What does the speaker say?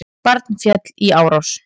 Barn féll í árás